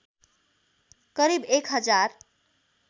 करिब एक हजार